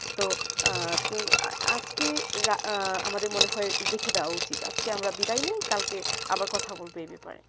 তো আজেক রা আমাদের মনে হয়ে রেখে দেবা উচিত আজকে আমরা বিদায় নি কালকে আবার কথা বলতেই এই ব্যাপারে ঠিক আছে